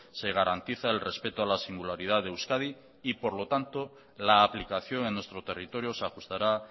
se garantiza el respeto a la singularidad de euskadi y por lo tanto la aplicación en nuestro territorio se ajustará